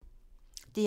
DR1